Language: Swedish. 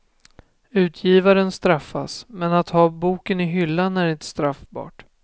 Utgivaren straffas, men att ha boken i hyllan är inte straffbart.